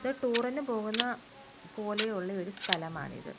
ഇത് ടൂർ ഇന് പോകുന്ന പോലെയുള്ള ഒരു സ്ഥലം ആണിത്.